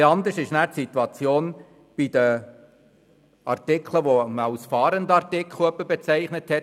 Etwas anders ist die Situation bei den Artikeln, die man bisweilen als «Fahrenden»-Artikel bezeichnet hat.